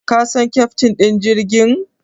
Ka san keftin ɗin jirgin?